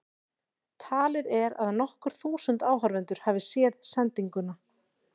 Talið er að nokkur þúsund áhorfendur hafi séð sendinguna.